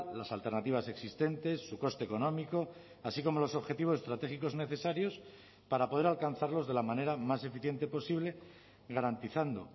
las alternativas existentes su coste económico así como los objetivos estratégicos necesarios para poder alcanzarlos de la manera más eficiente posible garantizando